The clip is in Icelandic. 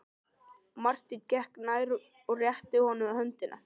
Marteinn gekk nær og rétti honum höndina.